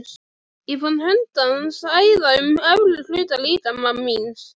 Ég fann hönd hans æða um efri hluta líkama míns.